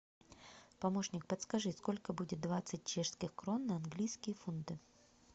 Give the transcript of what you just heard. помощник подскажи сколько будет двадцать чешских крон на английские фунты